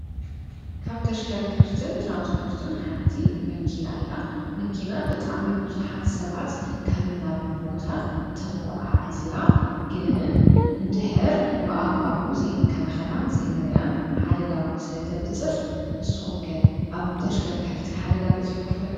ካብ ተሽከርከርትን ትራንስፖርትን ሓንቲ መኪና እያ። መኪና ብጣዕሚ ብዙሓት ሰባት ካብን ናብን ቦታ ተጐዓዕዚ እያ። ግን እንድሕር ብኣግባቡ ዘይንከናኸናን ዘይነዕርያን ሓደጋ እውን ስለ ተብጽሕ ንስኹምከ ኣብ ብ ተሽከርከርቲ ሓደጋ በጺሕኩም ይፈልጥ?